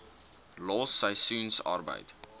los seisoensarbeid